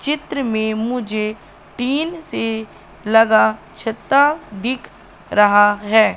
चित्र में मुझे टीन से लगा छत्ता दिख रहा है।